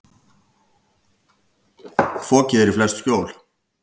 Fokið er í flest skjól.